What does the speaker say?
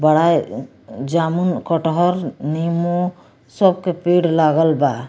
बढ़ाए जामुन कटहर निमु सब के पेड़ लागल बा।